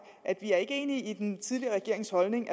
at vi ikke er enige i den tidligere regerings holdning